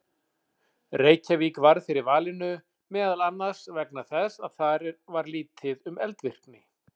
Reykjavík varð fyrir valinu meðal annars vegna þess að þar var lítið um eldvirkni.